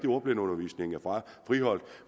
at ordblindeundervisningen er friholdt